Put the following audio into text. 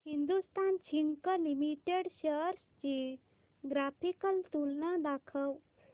Hindustan zinc limited shares ची graphical तुलना दाखव